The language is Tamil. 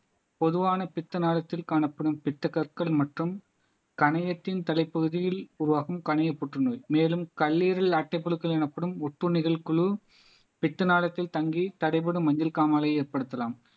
பொதுவான பித்த நாளத்தில் காணப்படும் பித்த கற்கள் மற்றும் கணையத்தின் தலைப்பகுதியில் உருவாகும் கணைய புற்றுநோய் மேலும் கல்லீரல் அட்டைப்புழுக்கள் எனப்படும் ஒட்டுண்ணிகள் குழு பித்த நாளத்தில் தங்கி தடைபடும் மஞ்சள் காமாலையை ஏற்படுத்தலாம்